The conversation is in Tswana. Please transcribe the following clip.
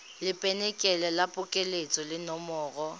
lebenkele la phokoletso le nomoro